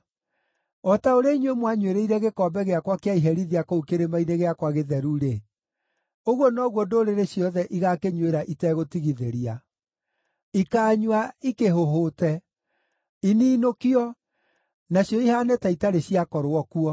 O ta ũrĩa inyuĩ mwanyuĩrĩire gĩkombe gĩakwa kĩa iherithia kũu kĩrĩma-inĩ gĩakwa gĩtheru-rĩ, ũguo noguo ndũrĩrĩ ciothe igaakĩnyuĩra itegũtigithĩria. Ikaanyua ikĩhũhũte, ininũkio, nacio ihaane ta itarĩ ciakorwo kuo.